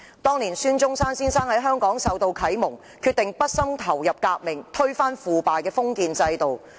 當年孫中山先生在香港受到啟蒙，決定畢生投身革命，推翻腐敗的封建制度。